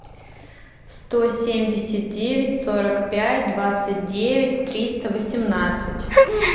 сто семьдесят девять сорок пять двадцать девять триста восемнадцать